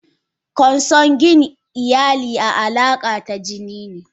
Consanguine iyali a alaka tajinine.